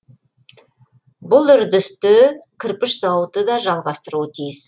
бұл үрдісті кірпіш зауыты да жалғастыруы тиіс